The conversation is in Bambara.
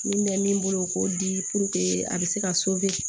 Min bɛ min bolo k'o di a bɛ se ka